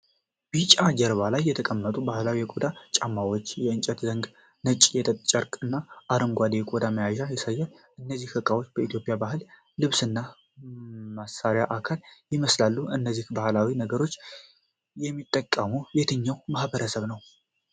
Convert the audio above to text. ቢጫ ጀርባ ላይ የተቀመጡ ባህላዊ የቆዳ ጫማዎች፣ የእንጨት ዘንግ፣ ነጭ የጥጥ ጨርቆች እና አረንጓዴ የቆዳ መያዣ ያሳያል። እነዚህ እቃዎች የኢትዮጵያ የባህል ልብስና መሳሪያ አካል ይመስላሉ። እነዚህን ባህላዊ ነገሮች የሚጠቀመው የትኛው ማህበረሰብ ነው?